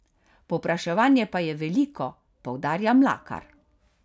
Povpraševanje pa je veliko, poudarja Mlakar.